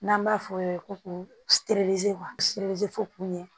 N'an b'a f'o ye ko fo kun ye